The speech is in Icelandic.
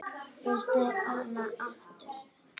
Viltu hana aftur?